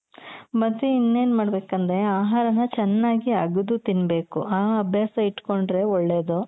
ಮತ್ತೆ ಇನ್ನೆನ್ ಮಾಡ್ಬೇಕಂದ್ರೆ ಆಹಾರನ ಚೆನ್ನಾಗಿ ಅಗ್ದು ತಿನ್ಬೇಕು ಆ ಅಭ್ಯಾಸ ಇಟ್ಕೊಂಡ್ರೆ ಒಳ್ಳೇದು.